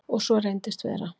Og svo reyndist vera.